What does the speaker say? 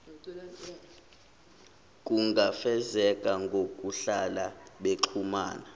kungafezeka ngokuhlala bexhumana